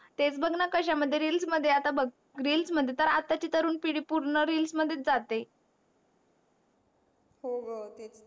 तेच बग णा कश्या मध्ये reels मध्ये आता बग reels मध्ये आता ची तरुण पिडी पूर्ण reels मध्ये जाते. हो ग तेच